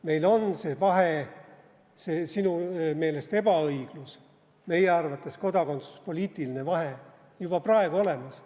Meil on see vahe – see sinu meelest ebaõiglus, meie arvates kodakondsuspoliitiline vahe – juba praegu olemas.